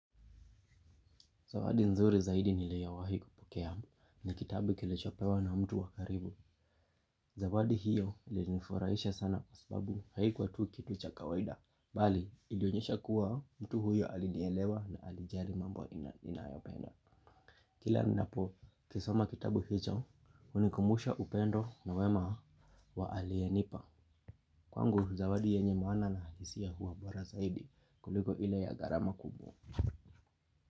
Zawadi nzuri zaidi niliyowai kupokea ni kitabu nilichopewa na mtu wa karibu. Zawadi hiyo ilinifurahisha sana sababu haikuwa tu kitu cha kawaida. Bali ilionyesha kuwa mtu huyo alinielewa na alijali mambo ninayopenda. Kila ninapo kisoma kitabu hicho hunikumbusha upendo na wema wa aliyenipa. Kwangu zawadi yenye maana na hisia huwa bora zaidi kuliko ile ya gharama kubwa.